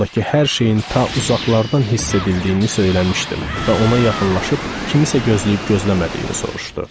Ondakı hər şeyin ta uzaqlardan hiss edildiyini söyləmişdim və ona yaxınlaşıb kimsəni gözləyib-gözləmədiyini soruşdu.